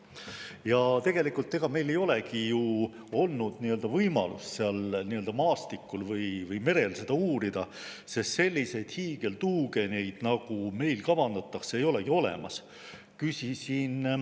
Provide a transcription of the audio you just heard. Ja tegelikult, ega meil ei olegi ju olnud võimalust nii-öelda maastikul või merel seda uurida, sest selliseid hiigeltuugeneid, nagu meile kavandatakse, ei olegi olemas.